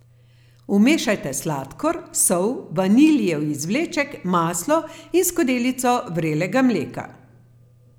Vmešajte sladkor, sol, vaniljev izvleček, maslo in skodelico vrelega mleka.